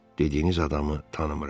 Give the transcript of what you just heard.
Dediyiniz adamı tanımıram.